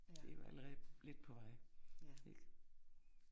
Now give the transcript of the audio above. Det jo allerede lidt på vej, ik?